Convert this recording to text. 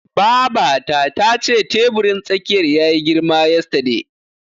Babata tace teburin tsakiyar yayi girma yesterday.